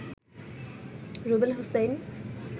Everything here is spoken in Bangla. রুবেল হোসেন